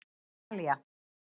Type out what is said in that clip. Talía